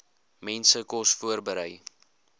mense kos voorberei